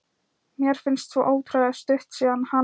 Mér finnst svo ótrúlega stutt síðan hann